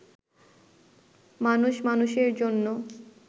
মানুষ মানুষের জন্য